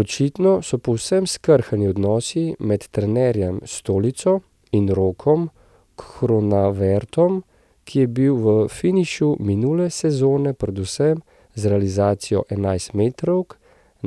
Očitno so povsem skrhani odnosi med trenerjem Stolico in Rokom Kronavetrom, ki je bil v finišu minule sezone predvsem z realizacijo enajstmetrovk